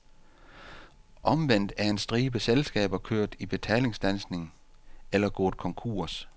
Omvendt er en stribe selskaber kørt i betalingsstandsning eller gået konkurs.